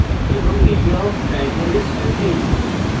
এবং area of triangle is 15